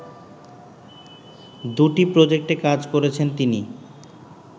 দুটি প্রজেক্টে কাজ করেছেন তিনি